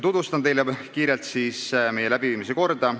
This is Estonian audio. Tutvustan teile kiirelt selle arutamise korda.